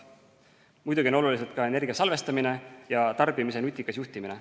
Muidugi on olulised ka energia salvestamine ja tarbimise nutikas juhtimine.